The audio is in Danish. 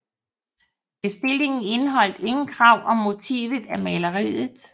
Bestillingen indeholdt ingen krav om motivet af maleriet